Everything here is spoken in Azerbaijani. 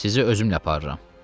Sizi özümlə aparıram.